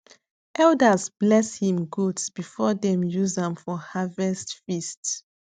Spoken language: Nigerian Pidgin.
elders bless him goats before dem use am for harvest feast